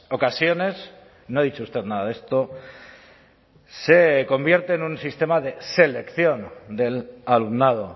ocasiones no ha dicho usted nada de esto se convierte en un sistema de selección del alumnado